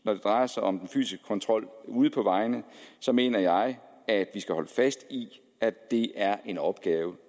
når det drejer sig om den fysiske kontrol ude på vejene mener jeg at vi skal holde fast i at det er en opgave